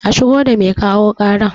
A shigo da mai kawo ƙarar